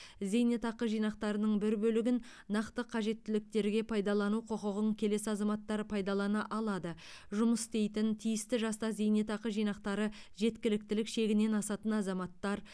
зейнетақы жинақтарының бір бөлігін нақты қажеттіліктерге пайдалану құқығын келесі азаматтар пайдалана алады жұмыс істейтін тиісті жаста зейнетақы жинақтары жеткіліктілік шегінен асатын азаматтар